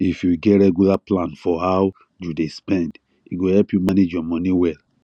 if you get regular plan for how you dey spend e go help you manage your money well